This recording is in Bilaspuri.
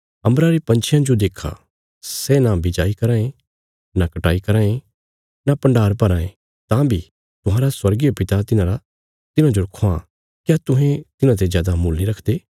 अम्बरा रे पंछियां जो देक्खा सै न बिजाई कराँ ये न कटाई कराँ ये न भण्डार भराँ ये तां बी तुहांरा स्वर्गीय पिता तिन्हांरा तिन्हांजो ख्वां क्या तुहें तिन्हांते जादा मुल नीं रखदे